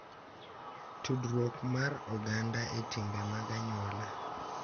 Tudruok mar oganda e timbe mag anyuola.